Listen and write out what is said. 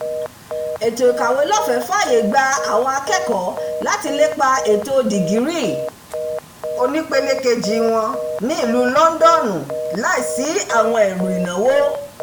"ètò ìkàwélọ́fẹ̀ẹ́ fàyè gba àwọn akẹ́kọ̀ọ́ láti lépa ẹ̀kọ́ dìgírì onípele-kejì wọn ní ìlú lọndọnu láìsí àwọn ẹrù ìnáwó”